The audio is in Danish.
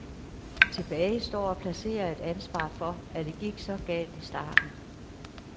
Tilbage står at placere et ansvar for, at det gik så galt i starten.